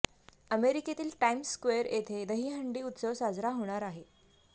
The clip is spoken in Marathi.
अमेरिकेतील टाइम्स स्क्वेअर येथे दहीहंडी उत्सव साजरा होणार आहे